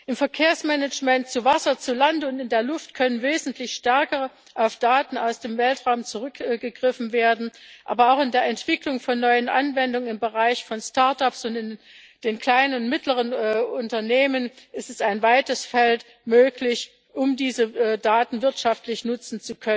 Im Verkehrsmanagement zu Wasser, zu Land und in der Luft könnte wesentlich stärker auf Daten aus dem Weltraum zurückgegriffen werden, aber auch in der Entwicklung von neuen Anwendungen im Bereich von Startups und in den kleinen und mittleren Unternehmen ist es möglich, diese Daten wirtschaftlich zu nutzen.